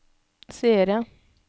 seere